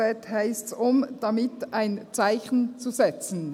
Dort heisst es: «um damit ein Zeichen [zu] setzen».